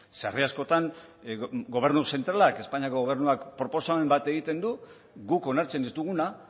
sarri askotan gobernu zentralak espainiako gobernuak proposamen bat egiten du guk onartzen ez duguna